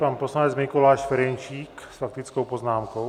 Pan poslanec Mikuláš Ferjenčík s faktickou poznámkou.